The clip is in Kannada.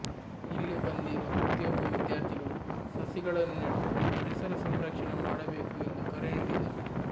ಇಲ್ಲಿ ಬಂದಿರುವ ಪ್ರತಿಯೊಬ್ಬ ವಿದ್ಯಾರ್ಥಿಗಳು ಸಸಿಗಳನ್ನು ನೆಟ್ಟು ಪರಿಸರ ಸಂರಕ್ಷಣೆ ಮಾಡಬೇಕು ಎಂದು ಕರೆ ನೀಡಿದರು